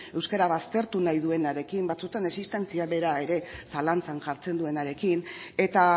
euskara baztertu nahi duenarekin batzuetan existentzia bera ere zalantzan jartzen duenarekin eta